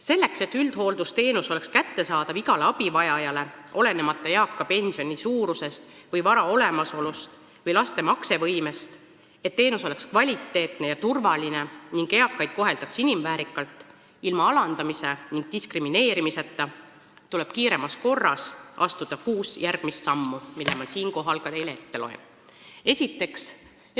Selleks, et üldhooldusteenus oleks kättesaadav igale abivajajale, olenemata eaka inimese pensioni suurusest, vara olemasolust või laste maksevõimest, et teenus oleks kvaliteetne ja turvaline ning eakaid koheldaks inimväärselt – ilma alandamise ja diskrimineerimiseta –, tuleb kiiremas korras astuda kuus järgmist sammu, mille ma siinkohal ka teile ette loen.